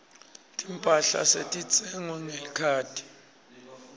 timphahla setitsengwa ngelikhadi